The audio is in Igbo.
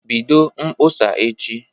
Bido mkpọsa echi